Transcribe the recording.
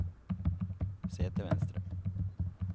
se til venstre